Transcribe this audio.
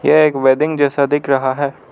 ये एक वेडिंग जैसा दिख रहा है।